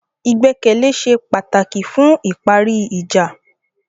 Ìgbẹ́kẹ̀lé ṣe pàtàkì fún ìparí ìjà.